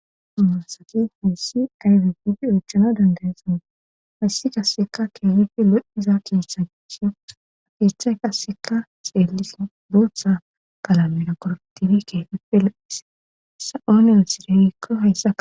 Nu asati hayssi aybipidi oochana dandaya sana hayssi kasseka keefife lo7iza kiissachio afeethay kasseka xeelis buoththa kalamina kortifi keefipe loissa7oone nosidewiikko hayssa.